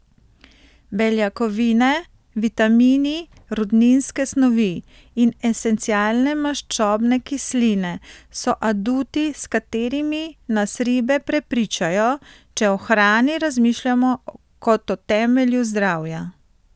Beljakovine, vitamini, rudninske snovi in esencialne maščobne kisline so aduti s katerimi nas ribe prepričajo, če o hrani razmišljamo kot o temelju zdravja.